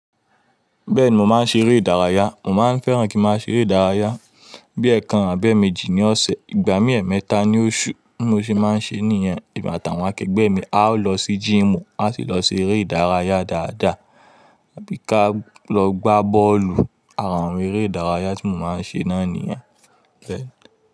Bẹ́ẹ̀ni mò máa ń ṣe eré ìdárayá. Mò máa ń fẹ́ràn kí màá ṣe eré ìdárayá bíi ẹẹkan àbí ẹẹ̀mẹjì ní ọ̀sẹ̀, ìgbà mí ẹẹmẹ́ta ní oṣù ni mò ṣe máa ń ṣe nìyẹn. Emi atàwọn akẹgbẹ́ mi a ó lọ sí gym, a sì lọ ṣe eré ìdárayá dáadáa tàbí ká lọ gbá bọ́ọ̀lù. Àrà ń eré ìdárayá tí mò máa ń ṣe náà nìyẹn bẹ́ẹ̀.